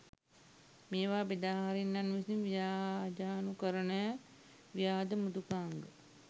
මේවා බෙදාහරින්නන් විසින් ව්‍යාජනුකරණ ව්‍යාජ මෘදුකාංග